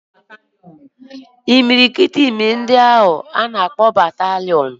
Imirikiti imi ndị agha ka a na-akpọ bataliọnụ